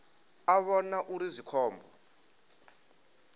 a vhona uri zwi khombo